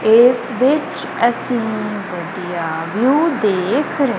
ਇਸ ਵਿੱਚ ਅਸੀਂ ਵਧੀਆ ਵਿਊ ਦੇਖ ਰਹੇ--